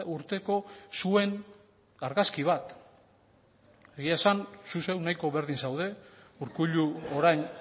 urteko zuen argazki bat egia esan zu zeu nahiko berdin zaude urkullu orain